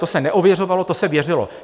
To se neověřovalo, to se věřilo.